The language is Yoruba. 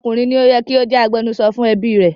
Ọkùnrin ni ó yẹ kí ó jẹ́ agbẹnusọ fún ẹbí rẹ̀.